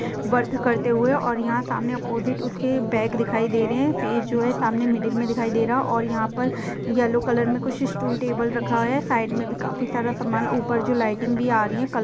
Work करते हुए और यहाँ सामने ऑपोजिट उसके बैग दिखाई दे रहे है फेस जो है सामने मिडिल में दिखाई दे रहा है और यहाँ पर येलो कलर में कुछ स्टूल टेबल रखा है साइड में काफी सारा सामान ऊपर जो लाइटिंग भी आ रही है। क--